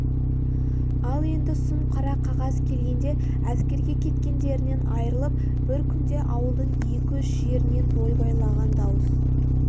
ал енді сұм қара қағаз келгенде әскерге кеткендерінен айырылып бір күнде ауылдың екі-үш жерінен ойбайлаған дауыс